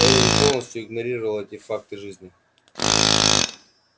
эллин полностью игнорировала те факты жизни